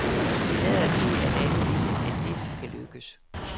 Det lader til, at alle vil, at dette skal lykkes.